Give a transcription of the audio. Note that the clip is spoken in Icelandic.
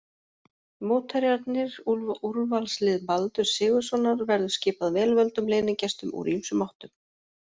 Mótherjarnir, Úrvalslið Baldurs Sigurðssonar verður skipað vel völdum leynigestum úr ýmsum áttum.